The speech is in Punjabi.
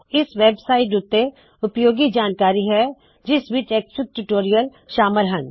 ਇਸ ਵੇਬਸਾਇਟ ਉੱਤੇ ਕਾਫੀ ਉਪਯੋਗੀ ਜਾਨਕਾਰੀ ਹੈ ਜਿਸ ਵਿੱਚ ਐਕਸਐਫਆਈਜੀ ਟਯੂਟੋਰਿਅਲ ਸ਼ਾਮਲ ਹਨ